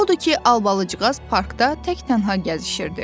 Odur ki, Albalıcığaz parkda tək-tənha gəzişirdi.